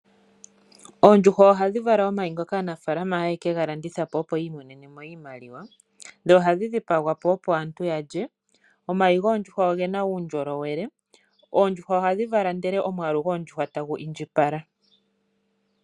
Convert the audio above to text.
Oondjuhwa ohadhi vala omayi ngoka aanafaalama haye ke ga landitha po, opo yi i monene mo iimaliwa, dho ohadhi dhipagwa po, opo aantu ya lye. Omayi goondjuhwa oge na uundjolowele. Oondjuhwa ohadhi vala ndele omwaalu goondjuhwa tagu indjipala.